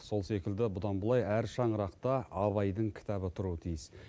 сол секілді бұдан былай әр шаңырақта абайдың кітабы тұруы тиіс